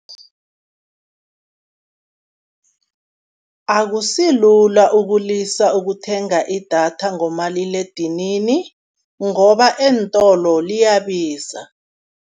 Akusilula ukulisa ukuthenga idatha ngomaliledinini, ngoba eentolo liyabiza.